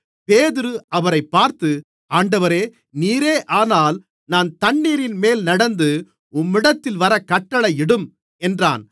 பேதுரு அவரைப் பார்த்து ஆண்டவரே நீரேயானால் நான் தண்ணீரின்மேல் நடந்து உம்மிடத்தில் வரக் கட்டளையிடும் என்றான்